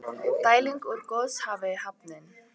Dæling úr Goðafossi hafin